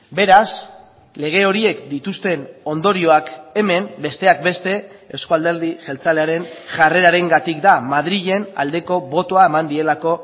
beraz lege horiek dituzten ondorioak hemen besteak beste euzko alderdi jeltzalearen jarrerarengatik da madrilen aldeko botoa eman dielako